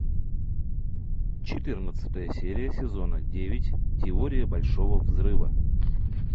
четырнадцатая серия сезона девять теория большого взрыва